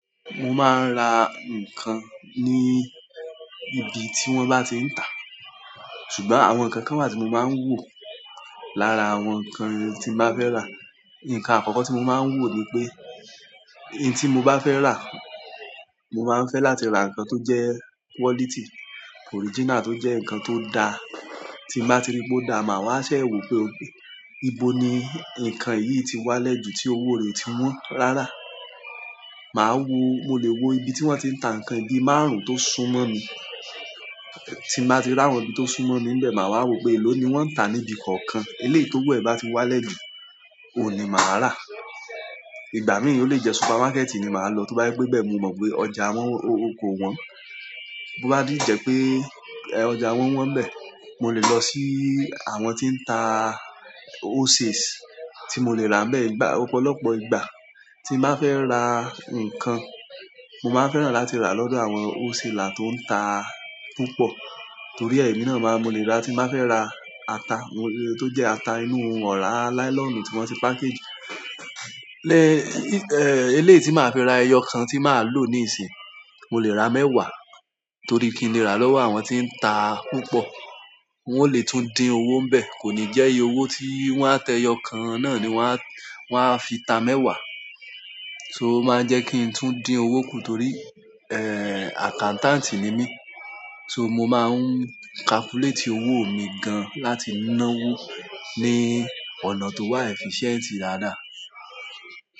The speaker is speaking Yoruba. Mo máa ń ra nǹkan ní ibi tí wọ́n bá ti ń tà. Ṣùgbọ́n àwọn nǹkan kan wà tí mo máa ń wò lára àwọn nǹkan tí n bá fẹ́ rà. Ǹkan àkọ́kọ́ tí mo máa ń wò ni pé, ohun tí mo bá fẹ́ rà, mo máa ń fẹ́ láti ra nǹkan tó jẹ́ quality, original tó jẹ́ nǹkan tó da. Tí n bá ti rí pé ó da, màá wá ṣẹ̀ wò pé okay, ibo ni nǹkan yìí ti wálẹ̀ ju tí owó rẹ̀ o ti wọn rárá. Màá wo, mo lè wo ibi tí wọ́n ti ń tà nǹkan yìí, bíi márùn-ún tó súnmọ́ mi. Tí n bá ti rí àwọn ibi tó súnmọ́ mi n bẹ́ẹ̀, màá wá wò pé, èló ni wọ́n ń tà níbi kọ̀ọ̀kan. Eléyìí tówo ẹ̀ bá ti wálẹ̀ jù, ohun ni màá rà. Ìgbà mìí o lé jẹ́ supermarket ni màá lọ, tó bá jẹ́ pé ibẹ́ mo mọ̀ pé ọjà ko wọn. Tó bá si jẹ pé ọjà wọ́n ibẹ́, mo lè lọ sí àwọn tí ń ta wholesales tí mo lè ra ibẹ́, ọ̀pọ̀lọpọ̀ ìgbà. Tí n bá fẹ́ ra nǹkan, mo máa ń fẹ́ràn láti rà lọ́dọ̀ àwọn wholesaler tó ń ta púpọ̀ torí e ẹ̀mí náà, mo lè ra tí n bá fẹ́ ra ata, tó jẹ́ ata inú ọ̀rá nylon tí wọ́n ti package. Eléyìí tí màá fi ra ẹyọkan tí màá lò ní ìsìn, mo lè ra mẹ́wàá torí kí ni lè rà lọ́wọ́ àwọn tí ń ta púpọ̀. Wọ́n ó lè tún dín owó n bẹ́ẹ̀, kò ní jẹ́ iye owó tí wọ́n á ta ẹyọkan náà ni wọ́n á fi ta mẹ́wàá. So o máa ń jẹ́ kí n tún dín owó kùn torí accountant ni mí. So mo máa ń calculate owó mi gan láti náwó ní ọ̀nà tó wà efficient dáadáa.